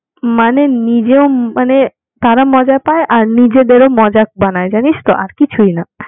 মানে নিজেও মানে তারা মজা পায় আর নিজেদের ও মজা বানাই জানিস তো আর কিছুই না